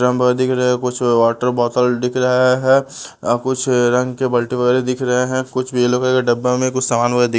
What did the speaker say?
drum भर दिख रहा कुछ वॉटर बॉटल दिख रहा है कुछ रंग के बाल्टी वगैरा दिख रहे हैं कुछ येलो के डब्बे में कुछ सामान हुए दि--